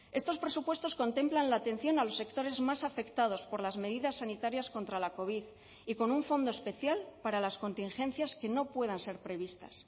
estos presupuestos contemplan la atención a los sectores más afectados por las medidas sanitarias contra la covid y con un fondo especial para las contingencias que no puedan ser previstas